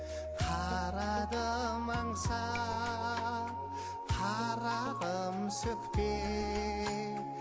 қарадым аңсап қарағым сөкпе